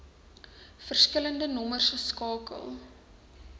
verskillende nommers skakel